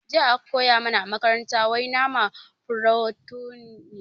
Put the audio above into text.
Jiya aka koya mana a makaranta wai nama furotin ne